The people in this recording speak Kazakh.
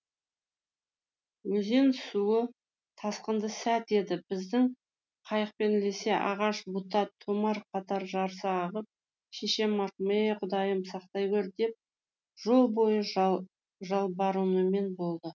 өзен суы тасқынды сәт еді біздің қайықпен ілісе ағаш бұта томар қатар жарыса ағып шешем марқұм е құдайым сақтай гөр деп жол бойы жалбарынумен болды